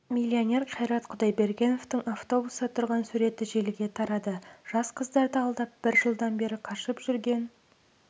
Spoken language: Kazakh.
миллионер қайрат құдайбергеновтың автобуста тұрған суреті желіге тарады жас қыздарды алдап бір жылдан бері қашып жүрген